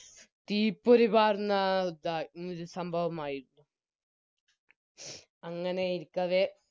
തീപ്പൊരിപ്പരുന്ന ഇതാ ഈയൊരു സംഭവമായിരിക്കും അങ്ങനെ ഇരിക്കവേ